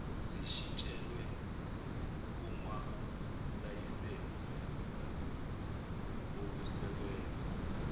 zishintshelwe kumalayisense okusebenza